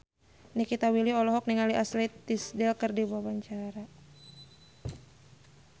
Nikita Willy olohok ningali Ashley Tisdale keur diwawancara